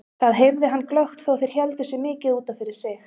Það heyrði hann glöggt þó þeir héldu sig mikið út af fyrir sig.